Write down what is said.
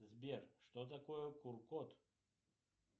сбер что такое кур код